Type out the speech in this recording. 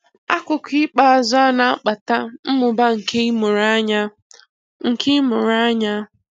Akụkụ ikpeazụ a na-akpata mmụba nke ịmụrụ anya. nke ịmụrụ anya.